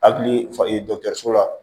Akili fa dɔ so la